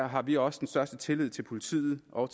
har vi også den største tillid til politiet og